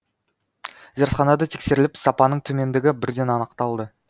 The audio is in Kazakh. зертханада тексеріліп сапаның төмендігі бірден анықталды